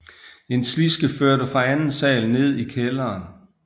En sliske førte fra anden sal ned i kælderen